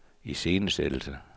iscenesættelse